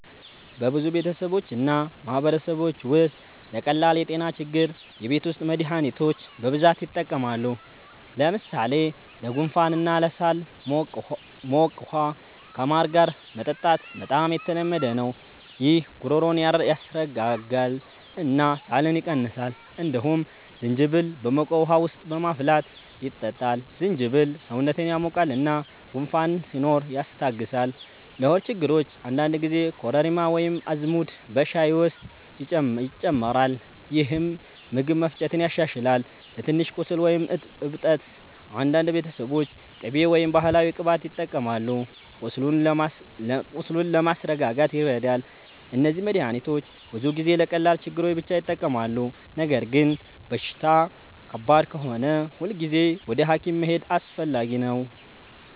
በብዙ ቤተሰቦች እና ማህበረሰቦች ውስጥ ለቀላል የጤና ችግሮች የቤት ውስጥ መድሃኒቶች በብዛት ይጠቀማሉ። ለምሳሌ ለጉንፋን እና ለሳል ሞቅ ውሃ ከማር ጋር መጠጣት በጣም የተለመደ ነው። ይህ ጉሮሮን ያስረጋጋል እና ሳልን ይቀንሳል። እንዲሁም ዝንጅብል በሞቅ ውሃ ውስጥ በማፍላት ይጠጣል። ዝንጅብል ሰውነትን ያሞቃል እና ጉንፋን ሲኖር ያስታግሳል። ለሆድ ችግሮች አንዳንድ ጊዜ ኮረሪማ ወይም አዝሙድ በሻይ ውስጥ ይጨመራል፣ ይህም ምግብ መፈጨትን ያሻሽላል። ለትንሽ ቁስል ወይም እብጠት አንዳንድ ቤተሰቦች ቅቤ ወይም ባህላዊ ቅባት ይጠቀማሉ፣ ቁስሉን ለማስረጋጋት ይረዳል። እነዚህ መድሃኒቶች ብዙ ጊዜ ለቀላል ችግሮች ብቻ ይጠቅማሉ። ነገር ግን በሽታ ከባድ ከሆነ ሁልጊዜ ወደ ሐኪም መሄድ አስፈላጊ ነው።